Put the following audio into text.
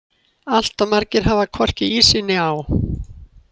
Allt of margir hafa hvorki í sig né á.